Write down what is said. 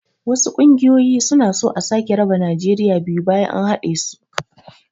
wasu ƙungoyoyi suna so a sake raba najeriya biyu bayan an haɗesu